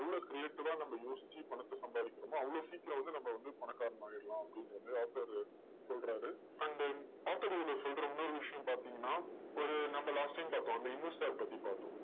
எவ்வளவு creative ஆ நம்ம யோசிச்சு பணத்த சம்பாதிக்கிறோமோ, அவ்வளவு சீக்கிரம் வந்து நம்ம வந்து பணக்காரனாய் ஆயிடலாம் அப்படிங்கற மாதிரி வந்து author சொல்றாரு. and author சொல்ற இன்னொரு விஷயம் பாத்தீங்கன்னா, ஒரு நம்ம last time பார்த்தோம். ஒரு investor பத்தி பார்த்தோம்.